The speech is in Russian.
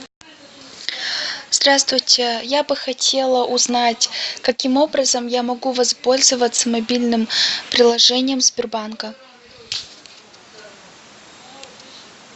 здравствуйте я бы хотела узнать каким образом я могу воспользоваться мобильным приложением сбербанка